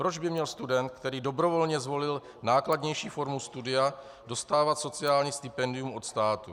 Proč by měl student, který dobrovolně zvolil nákladnější formu studia, dostávat sociální stipendium od státu?